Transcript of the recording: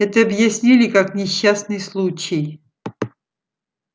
это объяснили как несчастный случай